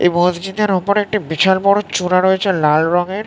এই মসজিদের ওপরে একটি বিশাল বড়ো চূড়া রয়েছে লাল রঙের ।